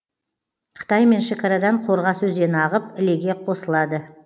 қытаймен шекарадан қорғас өзені ағып ілеге қосылады